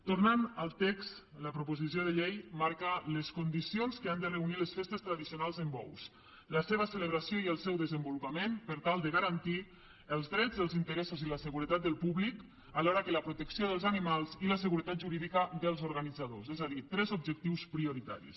tornant al text la proposició de llei marca les condicions que han de reunir les festes tradicionals amb bous la seva celebració i el seu desenvolupament per tal de garantir els drets els interessos i la seguretat del públic alhora que la protecció dels animals i la seguretat jurídica dels organitzadors és a dir tres objectius prioritaris